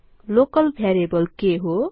local variable के हो